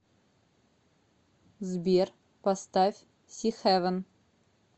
сбер поставь сихэвэн